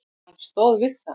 Hann stóð við það.